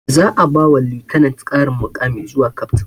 Za a ba wa lieutenant ƙarin muƙami zuwa captain